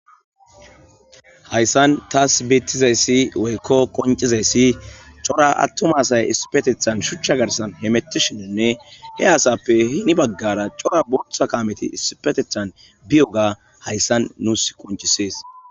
hayssan taas biittizayssi woykko qoncizayssi cora attuma asay isipetethan shuchcha garsan hemetti shininne he asappe hini baggara cora botha kaameti isipetethan biyoga hayssan nuus qoncisees